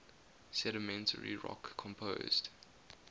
sedimentary rock composed